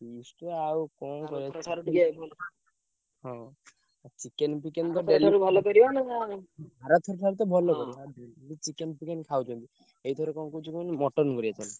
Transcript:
Feast ରେ ଆଉ କରିଆ ହଁ chicken ଫିକେନ ତ daily ଠାରୁ ଆର ଠାରୁ ତ ଭଲ କରିଆ daily chicken ଫିକେନ ଖାଉଛେ ଏଇଥର କଣ କହୁଛି କହିଲୁ mutton କରିଆ ଚାଲେ।